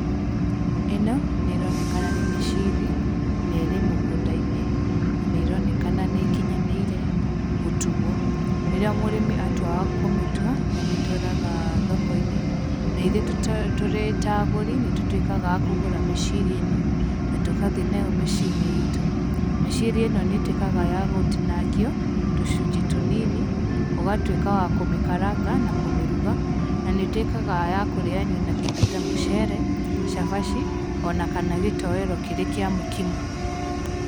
Ĩno nĩ ĩronekana nĩ mĩciri, nerĩ mũgũnda-inĩ na nĩ ĩronekana nĩ ĩkinyanĩire gũtuo, rĩrĩa mũrĩmi atua kũmĩtua, nĩ amĩtwaraga thoko-inĩ, na ithuĩ tũrĩ ta agũri, nĩ tũtuĩkaga a kũgũra mĩciri ĩno, na tũgathiĩ nayo mĩciĩ-inĩ itũ. Mĩciri ĩno nĩ ĩtukaga ya gũtinangio, tũcunjĩ tũnini, ũgatwĩka wa kũmĩkaranga na kũmĩruga, na nĩ ĩtuĩkaga ya kũrĩanio na kĩndũ ta mũcere, cabaci, ona kana gĩtoero kĩrĩ kĩa mũkimo.